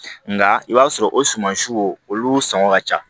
Nka i b'a sɔrɔ o sumansiw olu sɔngɔn ka ca